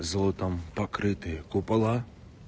золотом покрытые купола